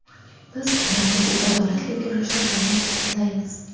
Biz ularni bu adolatli kurashda qo‘llab-quvvatlaymiz.